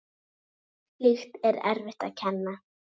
Slíkt er erfitt að kenna.